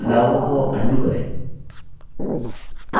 बदलावों को undo करें